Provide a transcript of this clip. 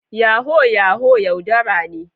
Yahoo yahoo yaudara ne.